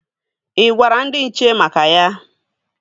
Ị gwara ndị nche maka ya?